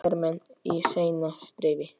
hermenn í seinna stríði.